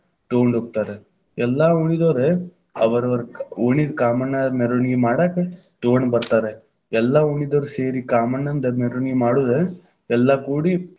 ತಗೊಂಡ್ ಹೋಕ್ತಾರ, ಎಲ್ಲಾ ಓಣಿದೋರ ಅವರವರ ಕಾ ಓಣಿದ ಕಾಮಣ್ಣದ ಮೆರವಣಿಗೆ ಮಾಡಾಕ ತಗೊಂಡ್ ಬತಾ೯ರ, ಎಲ್ಲಾ ಓಣೀದವ್ರ ಸೇರಿ, ಕಾಮಣ್ಣಂದ ಮೆರವಣಿಗೆ ಮಾಡುದ ಎಲ್ಲಾ ಕೂಡಿ.